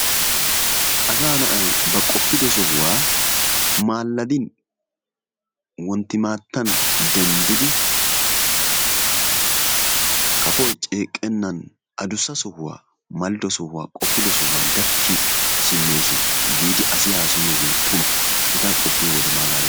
Asaa na'ay ba qoppido sohuwa maalladin wonttimaattan denddidi kafoy ceeqqennan adussa sohuwa malido sohuwa, qoppido sohuwa gakki simmees giidi asi haasayiyogee tuma. Hegaa qoppiyode malaalees.